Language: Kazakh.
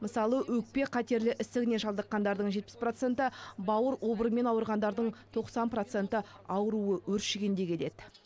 мысалы өкпе қатерлі ісігіне шалдыққандардың жетпіс проценті бауыр обырымен ауырғандардың тоқсан проценті ауруы өршігенде келеді